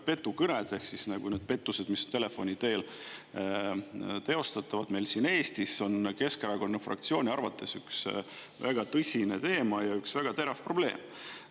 Petukõned ehk pettused, mida telefoni teel tehakse meil siin Eestis, on Keskerakonna fraktsiooni arvates üks väga tõsine teema ja üks väga terav probleem.